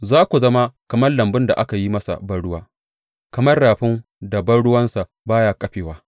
Za ku zama kamar lambun da aka yi masa banruwa, kamar rafin da ruwansa ba ya ƙafewa.